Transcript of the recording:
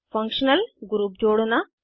functional group जोड़ना